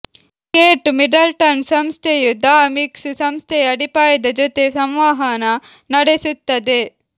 Kate Middleton ಸಂಸ್ಥೆಯು the mix ಸಂಸ್ಥೆಯ ಅಡಿಪಾಯದ ಜೊತೆ ಸಂವಹನ ನಡೆಸುತ್ತದೆ